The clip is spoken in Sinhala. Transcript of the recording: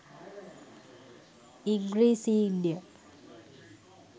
ඉංග්‍රීසීන්ය.